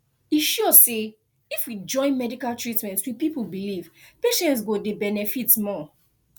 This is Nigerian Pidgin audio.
e sure say if we join medical treatment with people belief patients go dey benefit more